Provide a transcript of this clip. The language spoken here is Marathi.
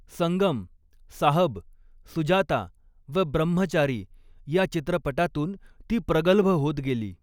संगम', 'साहब', 'सुजाता', व 'ब्रम्हचारी' या चित्रपटातून ती प्रगल्भ होत गेली.